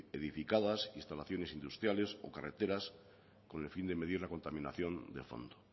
edificadas instalaciones industriales o carreteras con el fin de medir la contaminación de fondo